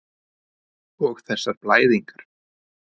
Og þessar blæðingar.